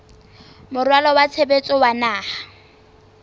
moralo wa tshebetso wa naha